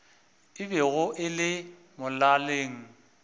e bego e le molaleng